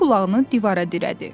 O qulağını divara dirədi.